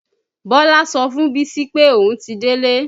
Bọlá sọ fún bísí pé òun ti délé